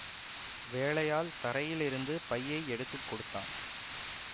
வேலையாள் தரையிலிருந்து பையை எடுத்து கொடுத்தான்